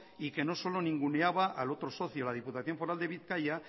y que no solo ninguneaba al otro socio la diputación foral de bizkaia